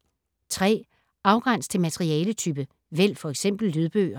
Afgræns til materialetype: vælg f.eks. lydbøger